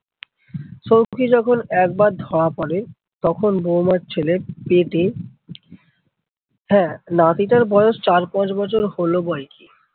সৌখী যখন একবার ধরা পরে বৌমার ছেলে পেটে। হ্যাঁ নাতিটার বয়স চার পাঁচ বছর হলো বয়কি।